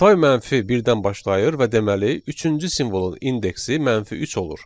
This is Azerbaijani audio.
Say -1-dən başlayır və deməli, üçüncü simvolun indeksi -3 olur.